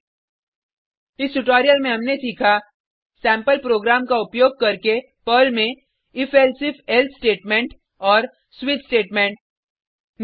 संक्षेप में इस ट्यूटोरियल में हमने सीखा सेम्पल प्रोग्राम का उपयोग करके पर्ल में if elsif एल्से स्टेटमेंट और स्विच स्टेटमेंट